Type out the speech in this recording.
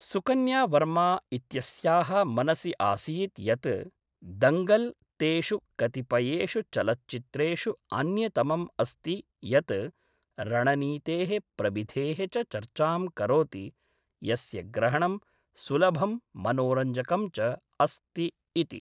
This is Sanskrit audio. सुकन्या वर्मा इत्यस्याः मनसि आसीत् यत् दङ्गल् तेषु कतिपयेषु चलच्चित्रेषु अन्यतमम् अस्ति यत् रणनीतेः प्रविधेः च चर्चां करोति यस्य ग्रहणं सुलभं मनोरञ्जकं च अस्ति इति।